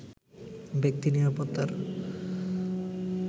ব্যক্তি নিরাপত্তার